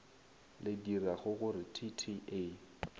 le diragogore t t a